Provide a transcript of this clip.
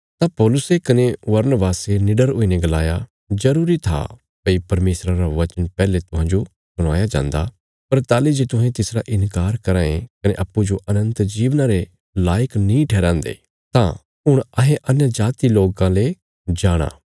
तां पौलुसे कने बरनबासे निडर हुईने गलाया जरूरी था भई परमेशरा रा वचन पैहले तुहांजो सुणाया जान्दा पर ताहली जे तुहें तिसरा इन्कार कराँ ये कने अप्पूँजो अनन्त जीवना रे लायक नीं ठहराँदे तां हुण अहें अन्यजाति लोकां ले जाणा